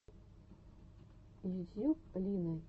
ютьюб лина китенко мультфильм